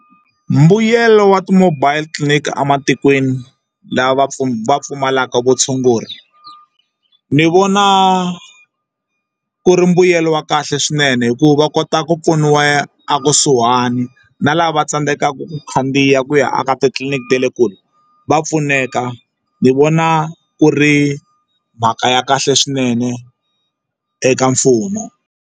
Mbuyelo wa ti-mobile clinic ematikweni lava va pfumalaka vutshunguri ni vona ku ri mbuyelo wa kahle swinene hikuva va kota ku pfuniwa ekusuhani na lava tsandzekaka ku khandziya ku ya aka titliliniki ta le kule va pfuneka ni vona ku ri mhaka ya kahle swinene eka mfumo.